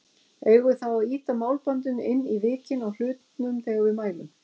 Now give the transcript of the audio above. Eigum við þá að ýta málbandinu inn í vikin á hlutnum þegar við mælum?